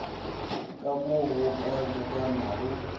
ka mo go ka lebanago